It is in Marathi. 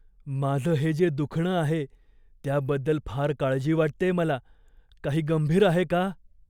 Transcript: माझं हे जे दुखणं आहे त्याबद्दल फार काळजी वाटतेय मला. काही गंभीर आहे का?